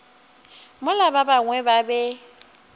mola ba bangwe ba be